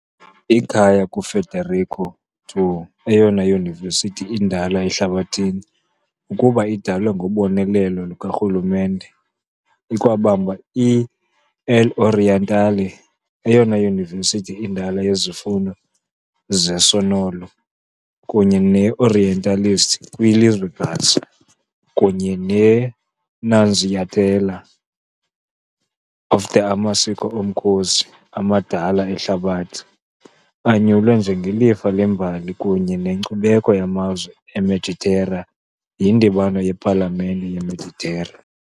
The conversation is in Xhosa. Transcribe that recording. Ikhaya kuFederico II, eyona yunivesithi indala ehlabathini ukuba idalwe ngobonelelo lukarhulumente, ikwabamba i-L'Orientale, eyona yunivesithi indala yezifundo zesonolo kunye ne-orientalist kwilizwekazi, kunye ne -Nunziatella, a of the amaziko omkhosi amadala ehlabathini, anyulwe njengelifa lembali kunye nenkcubeko yamazwe eMeditera yiNdibano yePalamente yeMeditera .